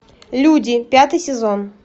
люди пятый сезон